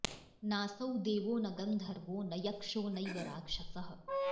नासौ देवो न गन्धर्वो न यक्षो नैव राक्षसः